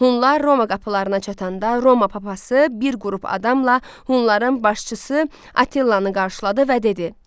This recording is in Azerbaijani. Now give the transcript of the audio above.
Hunlar Roma qapılarına çatanda Roma papası bir qrup adamla Hunların başçısı Attilanı qarşıladı və dedi: